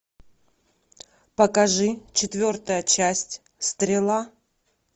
покажи четвертая часть стрела